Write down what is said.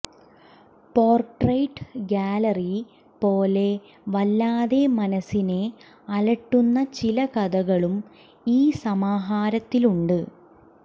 portrait gallery പോലെ വല്ലാതെ മനസ്സിനെ അലട്ടുന്ന ചില കഥകളും ഈ സമാഹാരത്തിലുണ്ട്